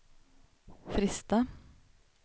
Fristad